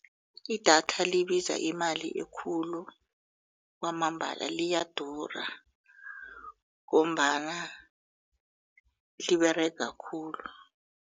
Idatha libiza imali ekhulu kwamambala liyadura ngombana liberega khulu.